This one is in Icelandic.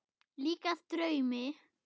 Líkast draumi.